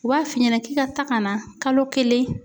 U b'a f'i ɲɛna k'i ka taa ka na kalo kelen